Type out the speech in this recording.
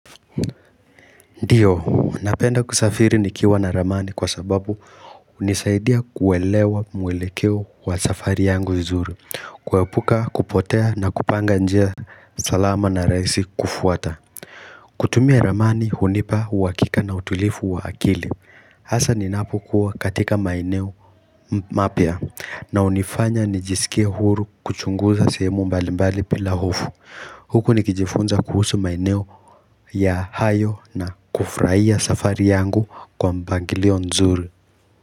Ndiyo, napenda kusafiri nikiwa na ramani kwa sababu hunisaidia kuelewa mwelekeo wa safari yangu vizuri kuepuka kupotea na kupanga njia salama na rahisi kufuata kutumia ramani hunipa uhakika na utulivu wa akili Hasa ninapokuwa katika maeneo mapya na hunifanya nijisikie huru kuchunguza sehemu mbalimbali bila hofu Huku nikijifunza kuhusu maeneo hayo na kufurahia safari yangu kwa mpangilio nzuri.